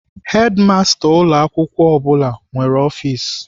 Hedimasta ụlọ akwụkwọ ọ bụla nwere ọfis.